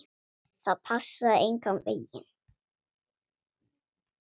Það passaði engan veginn.